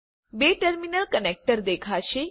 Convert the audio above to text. બે terminal connector દેખાશે